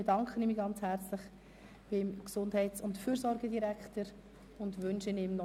Ich bedanke mich an dieser Stelle herzlich beim Gesundheits- und Fürsorgedirektor und wünsche ihm einen schönen Tag.